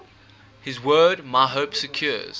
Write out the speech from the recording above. his word my hope secures